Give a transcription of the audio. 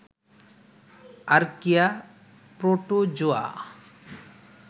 archaea, protozoa